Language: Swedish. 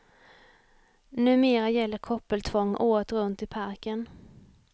Numera gäller koppeltvång året runt i parken.